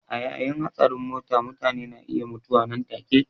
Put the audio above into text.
A yayin hatsarin mota mutane na iya mutuwa nan take.